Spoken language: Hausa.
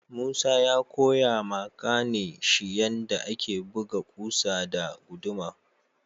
Musa ya Koya ma kanin shi yanda ake buga kusa da guduma.